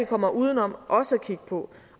kommer uden om også at kigge på